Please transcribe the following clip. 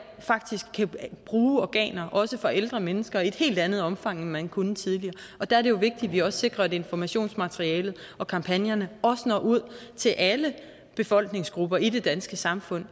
faktisk kan bruge organer også fra ældre mennesker i et helt andet omfang end man kunne tidligere og der er det jo vigtigt at vi også sikrer at informationsmaterialet og kampagnerne når ud til alle befolkningsgrupper i det danske samfund